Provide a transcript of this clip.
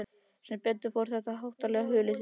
Sem betur fór var þetta háttalag hulið þér.